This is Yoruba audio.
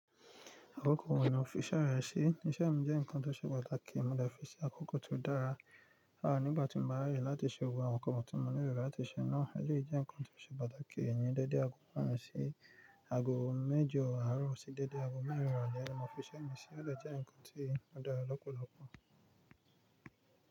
Àkókò wọ̀ ní ò fi iṣẹ́ rẹ̀ sí, iṣẹ́ mi jẹ́ nǹkan tó ṣe pàtàkì, mo dè fi ṣe àkókò tó dára. À nígbà tí mo bá rẹ̀ láti ṣe ohun àwọn nǹkan tí mo ní lérò láti ṣe náà, ẹlẹyi jẹ́ ǹkan tó ṣe pàtàkì, èyí ńi dẹ́dẹ̀ àgo merin sí ago méjọ àárọ̀ sì dédé àgọ mẹ́rin irole lọ fiṣẹ́ mi sí, jẹ́ ǹkan tí ó dára lọ́pọ̀lọpọ̀.